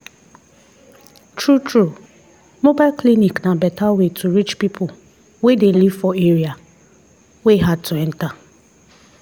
true true mobile clinic na better way to reach people wey dey live for area wey hard to enter.